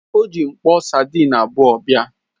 O ji mkpo sadịn abuo bịa.